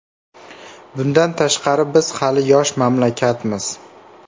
Bundan tashqari, biz hali yosh mamlakatmiz.